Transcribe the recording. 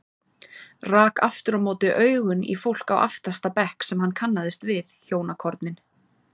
Rak aftur á móti augun í fólk á aftasta bekk sem hann kannaðist við, hjónakornin